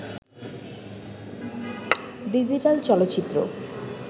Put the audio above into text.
digital চলচ্চিত্র